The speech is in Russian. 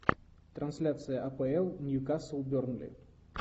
трансляция апл ньюкасл бернли